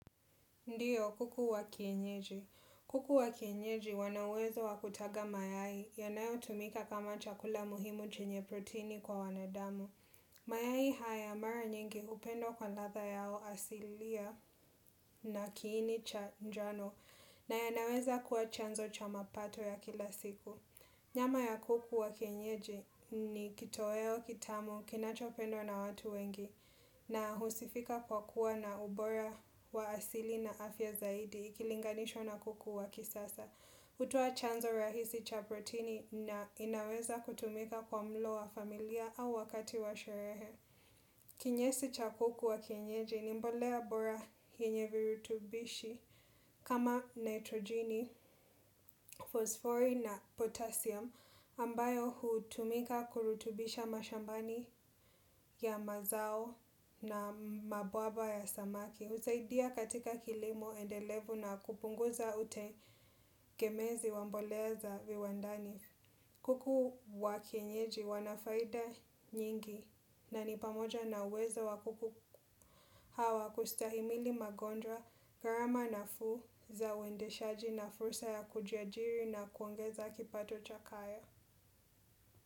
Ndio kuku wakienyeji. Kuku wakienyeji wanauwezo wakutaga mayai yonayo tumika kama chakula muhimu chenye protini kwa wanadamu. Mayai haya mara nyingi hupendwa kwa ladha yao asilia na kiini cha njano na yanaweza kuwa chanzo cha mapato ya kila siku. Nyama ya kuku wa kienyeji ni kitoweo, kitamu, kinachopendwa na watu wengi na husifika kwa kuwa na ubora wa asili na afya zaidi ikilinganishwa na kuku wa kisasa. Hutoa chanzo rahisi cha proteini na inaweza kutumika kwa mlo wa familia au wakati wa sherehe. Kinyesi cha kuku wa kienyeji ni mbolea bora yenye virutubishi kama nitrogeni, fosfori na potassium ambayo hutumika kurutubisha mashambani ya mazao na mabwabwa ya samaki. Husaidia katika kilimo endelevu na kupunguza utengemezi wa mbolea za viwandani. Kuku wakienyeji wanafaida nyingi na ni pamoja na uwezo wa kuku hawa kustahimili magonjwa gharama nafuu za uendeshaji na fursa ya kujiajiri na kuongeza kipato cha kaya.